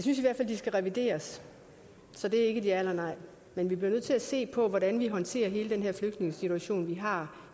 skal revideres så det er ikke et ja eller et nej men vi bliver nødt til at se på hvordan vi håndterer hele den her flygtningesituation vi har